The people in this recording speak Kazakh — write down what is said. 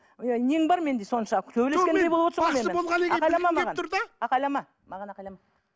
ы нең бар менде соншалықты төбелескендей болып айқайлама маған айқайлама